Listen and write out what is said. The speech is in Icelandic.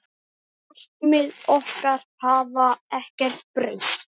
Markmið okkar hafa ekkert breyst.